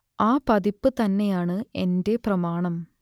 ആ പതിപ്പ് തന്നെയാണ് എന്റെ പ്രമാണം